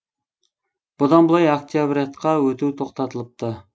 бұдан былай октябрятқа өту тоқтатылыпты